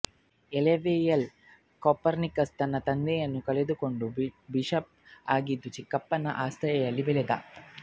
ಎಳವೆಯಲ್ಲೇ Copernicus ತನ್ನ ತಂದೆಯನ್ನು ಕಳೆದುಕೊಂಡು ಬಿಷಪ್ ಆಗಿದ್ದ ಚಿಕ್ಕಪ್ಪನ ಆಸರೆಯಲ್ಲಿ ಬೆಳೆದ